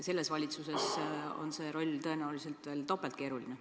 Selles valitsuses on see tõenäoliselt veel topelt keeruline.